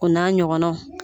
O n'a ɲɔgɔnnaw.